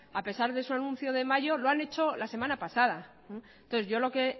a pesar de su anuncio de mayo lo han hecho la semana pasada entonces yo lo que